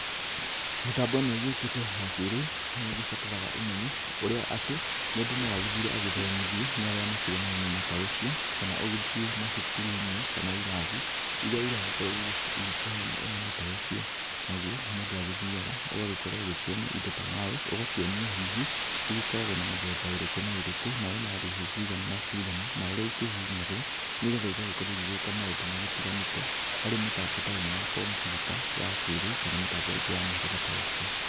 Mĩtambo ĩno ĩgĩũkĩte ya kĩrĩu nĩ ĩgĩbataraga ũmenyo ũrĩa atĩ mũndũ no agĩthire agĩthomithio nĩ arĩa makĩrĩ na ũmenyo ta ũcio, kana ũgĩthiĩ macukuru-inĩ kana irathi irĩa iragikorwo ikĩheana ũmenyo ta ũcio, nagũo mũndũ agĩgĩthiaga ũgagĩkorwo ũkĩonio indo ta mouse ũgakĩonio hihi igĩkoragwo na mĩthemba ĩrĩkũ na ĩrikũ, na ina thũci cigana na cigana, na ũrĩa ikĩhihinyagwo, nĩgetha igagĩkorwo igĩka maũndũ matiganĩte harĩ mĩtambo ta ĩno ya kompiuta ya kĩrĩu kana mĩtambo ingi ya mũhĩrĩga ta ũcio.